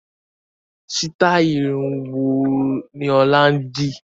Sitai irun wo ni ọ̀la ń di?